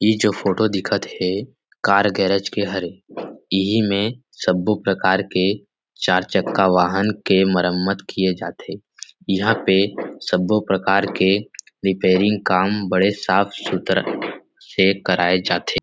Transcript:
इ जो फोटो दिखत थे कार गैरेज के हरे इहि में सबो प्रकार के चार छक्का वाहन के मरम्मत किये जाथे यहाँ पे सबो प्रकार के रिपेयरिंग काम बड़े साफ़ सुथरा से कराय जाथे।